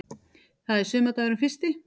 Það er sumardagurinn fyrsti.